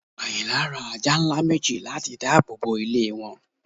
Ayìnlá rá àjà nlá mẹji làti dààbọ bọ ilẹ̀ wọn